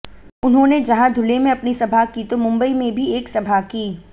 उन्होंने जहां धुले में अपनी सभा की तो मुंबई में भी एक सभा की